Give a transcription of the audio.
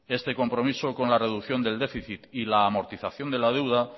este compromiso con la reducción del déficit y la amortización de la deuda